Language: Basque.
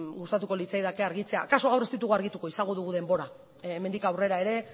gustatuko litzaidake argitzea akaso gaur ez ditugu argituko izango dugu denbora hemendik aurrera ere